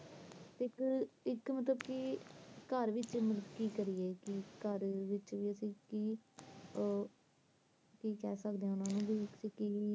ਤੇ ਇੱਕ ਮਤਲਬ ਕੀ ਇੱਕ ਘਰ ਵਿਚ ਕਿ ਕਰੀਏ ਮਤਲਬ ਕਿ ਕਿ ਕਰ ਸਕਦੇ ਆ, ਕਿ ਕਹਿ ਸਕਦੇ ਓਹਨੂੰ